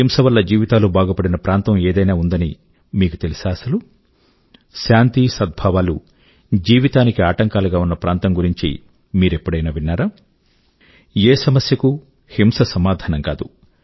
హింస వల్ల జీవితాలు బాగుపడిన ప్రాంతం ఏదైనా ఉందని మీకు తెలుసా అసలు శాంతి సద్భావాలు జీవితానికి ఆటంకాలు గా ఉన్న ప్రాంతం గురించి మీరెప్పుడైనా విన్నారా ఏ సమస్యకూ హింస సమాధానం కాదు